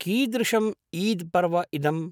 कीदृशम् ईद् पर्व इदम्?